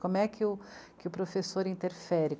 Como é que, que o professor interfere?